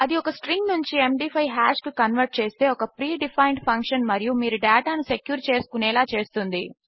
అది ఒక స్ట్రింగ్ నుంచి ఎండీ5 హాష్ కు కన్వర్ట్ చేస్తే ఒక ప్రీ డిఫైన్డ్ ఫంక్షన్ మరియు మీరు డేటా ను సెక్యూర్ చేసుకునేలా చేస్తుంది